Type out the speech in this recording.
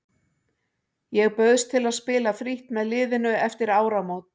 Ég bauðst til að spila frítt með liðinu eftir áramót.